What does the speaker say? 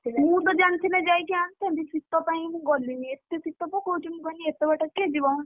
ମୁଁ ତ ଜାଣିଥିଲେ ଯାଇକି ଆଣିଥାନ୍ତି ଶୀତ ପାଇଁ ମୁଁ ଗଲିନି ଏତେ ଶୀତ ପକଉଛି ମୁଁ କହିଲି ଏତେ ବାଟ କିଏ ଯିବ।